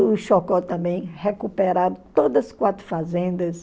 O Chocó também recuperado todas as quatro fazendas.